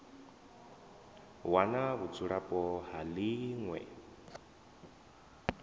wana vhudzulapo ha ḽi ṅwe